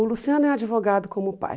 O Luciano é advogado como o pai.